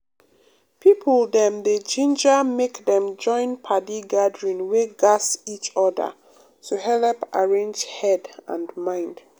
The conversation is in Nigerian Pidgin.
people dem dey ginger make dem join padi gathering wey gatz each other to helep arrange head and mind.